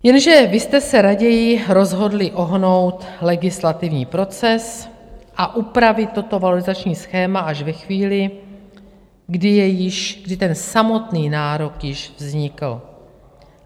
Jenže vy jste se raději rozhodli ohnout legislativní proces a upravit toto valorizační schéma až ve chvíli, kdy ten samotný nárok již vznikl.